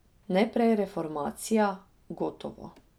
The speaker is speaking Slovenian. Najprej reformacija, gotovo.